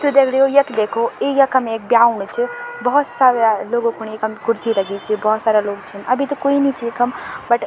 त दगडियों यख देखो ई यखम एक ब्या होणु च भोत सारा लोगो खुणी इखम कुर्सी लगीं च भोत सारा लोग छीन अभी त कुई नी च यखम बट --